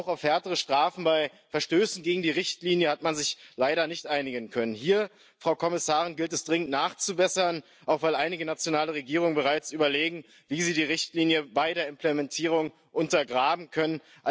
Und auch auf härtere Strafen bei Verstößen gegen die Richtlinie hat man sich leider nicht einigen können. Hier, Frau Kommissarin, gilt es, dringend nachzubessern, auch weil einige nationale Regierungen bereits überlegen, wie sie die Richtlinie bei der Implementierung untergraben können.